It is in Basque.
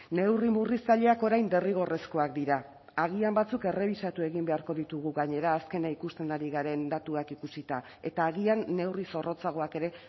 neurri murriztaileak orain derrigorrezkoak dira agian batzuk errebisatu egin beharko ditugu gainera azkena ikusten ari garen datuak ikusita eta agian neurri zorrotzagoak ere